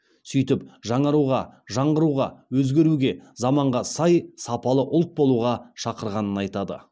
сөйтіп жаңаруға жаңғыруға өзгеруге заманға сай сапалы ұлт болуға шақырғанын айтады